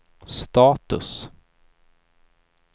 status